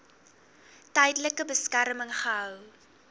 tydelike beskerming gehou